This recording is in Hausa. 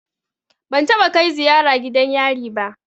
Ban taɓa kai ziyara gidan yari ba.